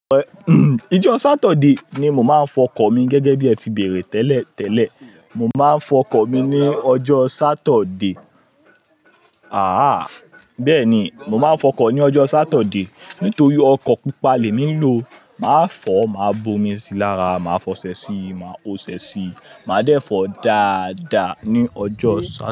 Ijọ́ Saturday ni mo máa ń fọ ọkọ̀ mi gẹ́gẹ́ bí ẹ ti bèrè tẹ́lẹ̀ tẹ́lẹ̀. Mo máa ń fọ ọkọ̀ mi ní ọjọ́ Saturday. Àhá! Bẹ́ẹ̀ni, mo máa ń fọ ọkọ̀ ní ọjọ́ Saturday. Nítorí ọkọ̀ pupa lèmi nlò, màá fọ̀, màá bomi sí i lára, màá fọṣẹ síi, màá oṣẹ sí i, màá dẹ́fọ́ dáadáa ní ọjọ́ Saturday.